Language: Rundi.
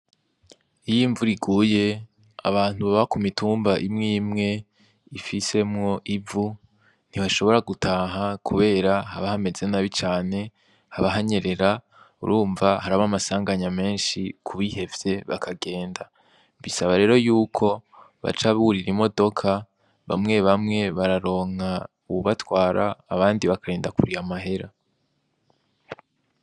Iyo imvura iguye abantu baba ku mitumba imwe imwe ifisemwo ivu ntihashobora gutaha, kubera habahamezenabi cane habahanyerera urumva hari abo amasanganya menshi kubihevye bakagenda, mbisaba rero yuko baca burira imodoka bamwe bamwe bararonka uwubatwara abandi bakarenda kuriya amahera.